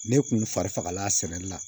Ne kun farifagala sɛni la